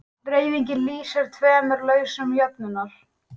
Dreifingin lýsir tveimur lausnum jöfnunnar.